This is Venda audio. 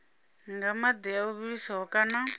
nga madi o vhiliswaho kana